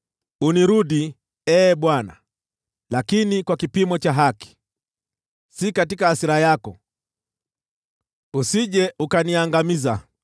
Unirudi, Ee Bwana , lakini kwa kipimo cha haki: si katika hasira yako, usije ukaniangamiza.